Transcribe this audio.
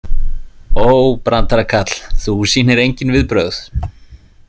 Ó, brandarakarl, þú sýnir engin viðbrögð.